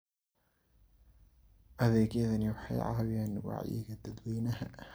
Adeegyadani waxay caawiyaan wacyiga dadweynaha.